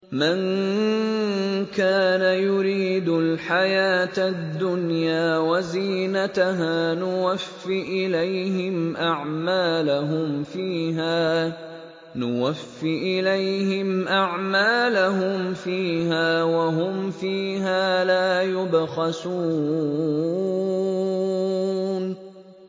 مَن كَانَ يُرِيدُ الْحَيَاةَ الدُّنْيَا وَزِينَتَهَا نُوَفِّ إِلَيْهِمْ أَعْمَالَهُمْ فِيهَا وَهُمْ فِيهَا لَا يُبْخَسُونَ